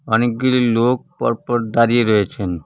অনেকগুলি লোক পরপর দাঁড়িয়ে রয়েছেন।